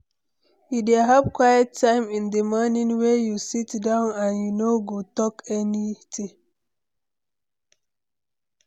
You dey have quiet time in di morning wey you sit down and you no go talk any thing?